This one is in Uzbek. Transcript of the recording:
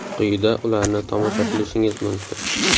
Quyida ularni tomosha qilishingiz mumkin.